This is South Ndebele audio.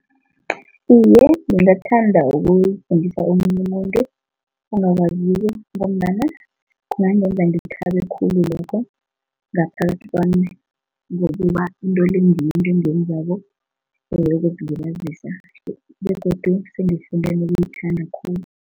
Iye, ngingathanda ukuwufundisa omunye umuntu ongawaziko ngombana kungangenza ngithabe khulu lokho ngaphakathi kwami ngokuba into le ngiyo into engiyenzako for ukuziliabazisa begodu sengifunde nokuwuthanda khulu.